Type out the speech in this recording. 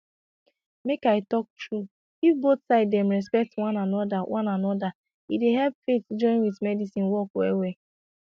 make i talk true if both side dem respect one anoda one anoda e dey help faith join with medicine work well well